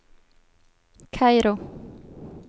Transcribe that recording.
Kairo